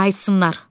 Qayıtsınlar.